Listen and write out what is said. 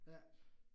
Ja